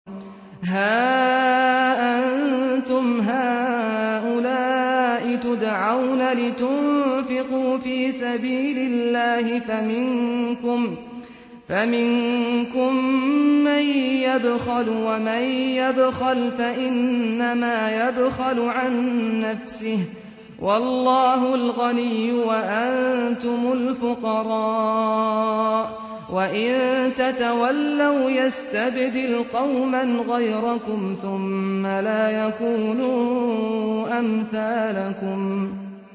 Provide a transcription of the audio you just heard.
هَا أَنتُمْ هَٰؤُلَاءِ تُدْعَوْنَ لِتُنفِقُوا فِي سَبِيلِ اللَّهِ فَمِنكُم مَّن يَبْخَلُ ۖ وَمَن يَبْخَلْ فَإِنَّمَا يَبْخَلُ عَن نَّفْسِهِ ۚ وَاللَّهُ الْغَنِيُّ وَأَنتُمُ الْفُقَرَاءُ ۚ وَإِن تَتَوَلَّوْا يَسْتَبْدِلْ قَوْمًا غَيْرَكُمْ ثُمَّ لَا يَكُونُوا أَمْثَالَكُم